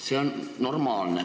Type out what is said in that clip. See on normaalne.